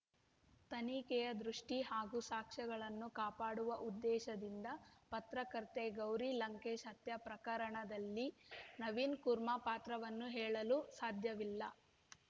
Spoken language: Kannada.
ತನಿಖೆಯ ದೃಷ್ಟಿಹಾಗೂ ಸಾಕ್ಷ್ಯಗಳನ್ನು ಕಾಪಾಡುವ ಉದ್ದೇಶದಿಂದ ಪತ್ರಕರ್ತೆ ಗೌರಿ ಲಂಕೇಶ್‌ ಹತ್ಯೆ ಪ್ರಕರಣದಲ್ಲಿ ನವೀನ್‌ ಕುರ್ಮ ಪಾತ್ರವನ್ನು ಹೇಳಲು ಸಾಧ್ಯವಿಲ್ಲ